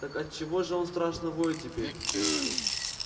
так отчего же он страшно воет теперь